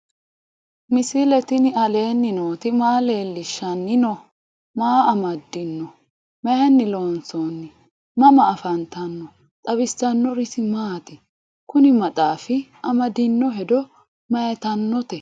misile tini alenni nooti maa leelishanni noo? maa amadinno? Maayinni loonisoonni? mama affanttanno? xawisanori isi maati? kunni maxaaffi amadinno hedo mayiittanote?